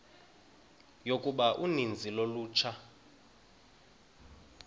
yokuba uninzi lolutsha